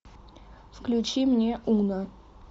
включи мне уна